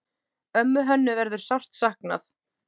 Ömmu Hönnu verður sárt saknað.